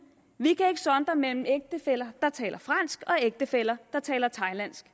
vi kan ikke sondre mellem ægtefæller der taler fransk og ægtefæller der taler thailandsk